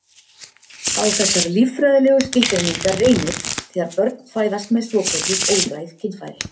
Á þessar líffræðilegu skilgreiningar reynir þegar börn fæðast með svokölluð óræð kynfæri.